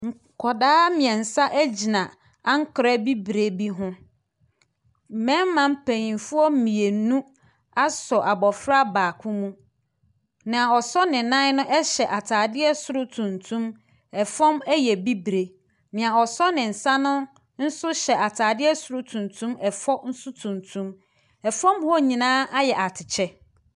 Nkwadaa miɛnsa egyina ankwerɛ bibire bi ho. Mbɛɛma paninfoɔ mienu asɔ abɔfra baako mu. Nia ɔsɔ ne nan no ɛhyɛ ataadeɛ soro tuntum ɛfɔm ɛyɛ bibire. Nia ɔsɔ ne nsa no nso hyɛ ataadeɛ soro tuntum, ɛfɔm so tuntum. Ɛfɔm hɔ nyinaa ayɛ atɛkyɛ.